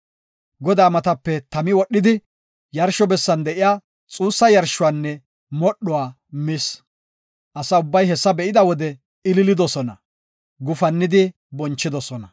Godaa matape tami wodhidi, yarsho bessan de7iya xuussa yarshuwanne modhuwa mis. Asa ubbay hessa be7ida wode ililidosona; gufannidi bonchidosona.